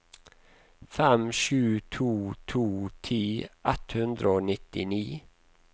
fem sju to to ti ett hundre og nittini